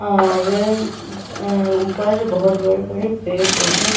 और ऊपर बहोत बड़े-बड़े पेड़-पौधें --